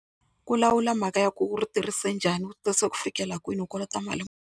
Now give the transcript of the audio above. Ku lawula mhaka ya ku u ri tirhise njhani ku fikela kwini u kolota mali muni.